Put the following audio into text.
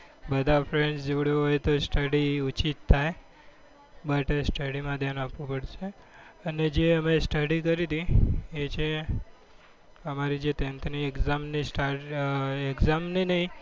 બધા friends જોડે હોય તો study ઓછી થાય બટ study માં ધ્યાન આપવું પડશે અને જે અમે study કરી હતી એ છે અમારે જે ટેન્થની exam ની start exam ની નહિ.